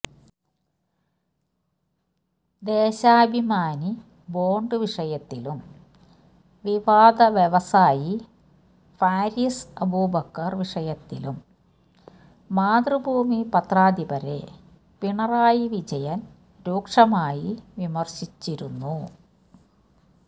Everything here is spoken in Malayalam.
ദേശാഭിമാനി ബോണ്ട് വിഷയത്തിലും വിവാദ വ്യവസായി ഫാരീസ് അബൂബക്കർ വിഷയത്തിലും മാതൃഭൂമി പത്രാധിപരെ പിണറായി വിജയൻ രൂക്ഷമായി വിമർശിച്ചിരുന്നു